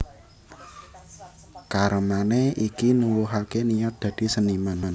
Karemané iki nuwuhaké niat dadi seniman